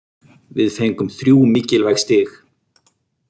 Við fengum þrjú mikilvæg stig.